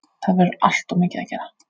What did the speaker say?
Það verður alltof mikið að gera